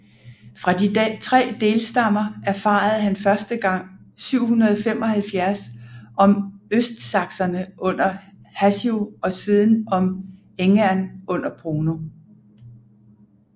Fra de tre delstammer erfarede han første gang 775 om østsakserne under Hassio og siden om Engern under Bruno